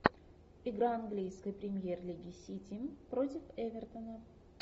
игра английской премьер лиги сити против эвертона